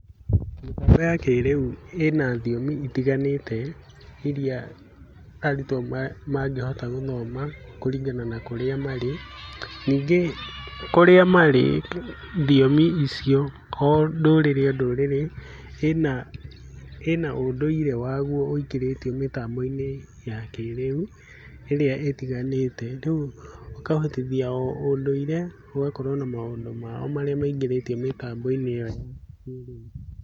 Mĩtambo ya kĩrĩu ĩna thiomi itiganĩte iria arutwo mangĩhota gũthoma kũringana na kũrĩa marĩ, ningĩ kũrĩa marĩ thiomi icio o ndũrĩrĩ o ndũrĩrĩ ĩna ũndũire waguo ĩingĩrĩte thĩinĩ wa kĩrĩa ĩrĩa ĩtiganĩte ĩkahotithia o ũndũire ũgakorwo na maũndũ maguo marĩa maingĩrĩtie thĩinĩ wa mĩtambo yao ya kĩrĩu.